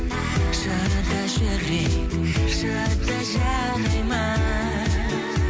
шыда жүрек шыда жарайды ма